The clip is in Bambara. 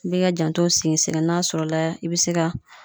I b'i ka jantow sigi sen kan n'a sɔrɔ la i be se ka